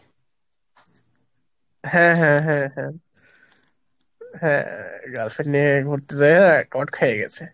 হ্যাঁ হ্যাঁ হ্যাঁ, হ্যাঁ girlfriend নিয়ে ঘুরতে যেয়ে কট খাই গেসে।